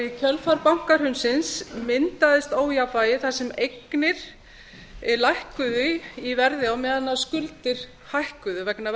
í kjölfar bankahrunsins myndaðist ójafnvægi þar sem eignir lækkuðu í verði á meðan skuldir hækkuðu vegna